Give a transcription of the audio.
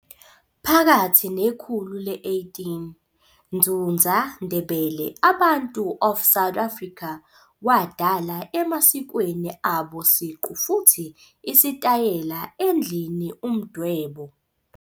Phakathi nekhulu le-18, Ndzundza Ndebele abantu of South Africa wadala emasikweni abo siqu futhi isitayela endlini Umdwebo.